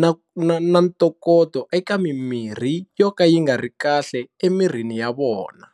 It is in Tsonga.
na na na ntokoto eka mimirhi yo ka yi nga ri kahle emirini ya vona.